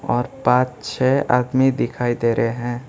और पांच छः आदमी दिखाई दे रहे हैं।